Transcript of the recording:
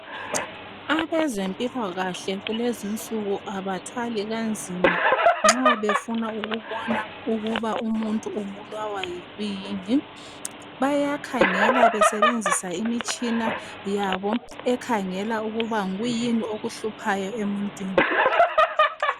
Abezempilakahle kulezinsuku abathwali nzima nxa befuna ukubona ukuthi umuntu ubulawa yikwini bayasebenzisa imitshina yabo bekhangela ukuba yikwini okuhluphayo emuntwini.